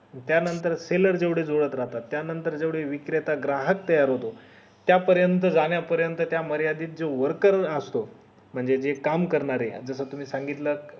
त्या नंतर cellar जेवढे जुळत राहतात त्या नंतर जेवढे विक्रेता ग्राहक तयार होतात त्या पर्यंत जाण्या पर्यंत त्या मर्यादित जे worker असतो म्हणजे जे काम करणारे आहे जस तुम्ही सांगितलंत